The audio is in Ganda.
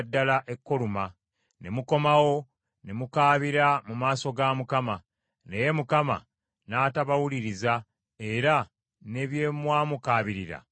Ne mukomawo, ne mukaabira mu maaso ga Mukama , naye Mukama n’atabawuliriza era ne bye mwamukaabirira n’atabibawa.